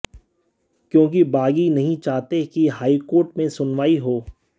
क्योंकि बागी नहीं चाहते कि हाई कोर्ट में सुनवाई हो